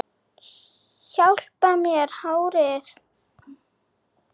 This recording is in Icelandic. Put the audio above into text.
Hjálpar mér með hárið!